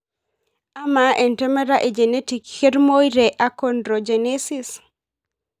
Ama entemata e genetic ketumoyu te achondrogenesis?